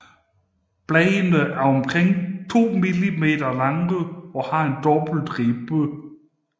Bladene er omkring to mm lange og har en dobbelt ribbe